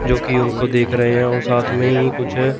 जो कि उनको देख रहे हैं औ साथ में ही कुछ--